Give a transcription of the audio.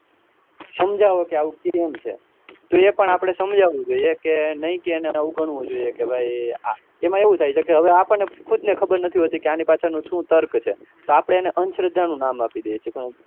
સમજાવો કે આવુ કેમ છે તો એ પણ આપણે સમજવું જોઈએ કે નહીં કે એને અવગણવું જોઈએ એમાં એવું થાય છે કે આપણે ખુદ ને ખબર નતી હોતી કે આપડે આની પાછળ નું શું તર્ક છે તો આપડે એને અન્શ્ધ્રા નું નામ અપીદીએ છીએ